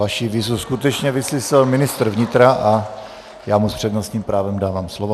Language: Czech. Vaši výzvu skutečně vyslyšel ministr vnitra a já mu s přednostním právem dávám slovo.